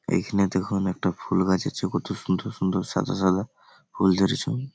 এইখানে দেখুন একটা ফুলগাছ আছে কত সুন্দর সুন্দর সাদা সাদা ফুল ধরেছে।